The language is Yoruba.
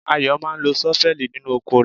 Ayo máa ń lo ṣọ́fẹ́ẹ̀lì nínú oko rẹ̀.